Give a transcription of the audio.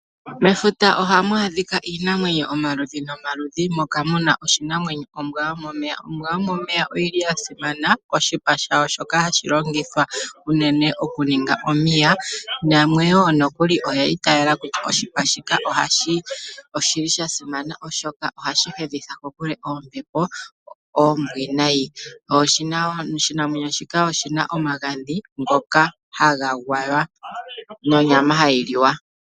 Mefuta ohamu adhika iinamwenyo omaludhi nomaludhi moka muna oshinamwenyo ombwa yomomeya. Ombwa yomomeya oyili ya simana koshipa shayo shoka hashi longithwa unene oku ninga omiya yo yamwe oyi itaala kutya oshipa shombwa yomomeya osha simana oshoka ohashi tidhile oombepo dhanyata kokule sho omagadhi gasho ohaga gwaya nonyama yasho ohayi liwa.